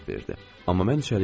Amma mən içəri girdim.